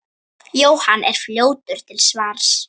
Jóhann er fljótur til svars.